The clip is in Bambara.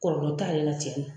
Kɔlɔlɔ t'ale la cɛnna